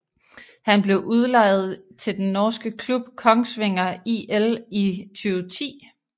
Han blev udlejet til den norske klub Kongsvinger IL i 2010